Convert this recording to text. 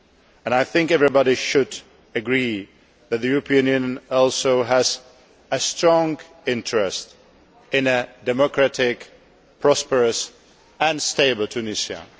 and I think everyone should agree that the European Union also has a strong interest in a democratic, prosperous and stable Tunisia.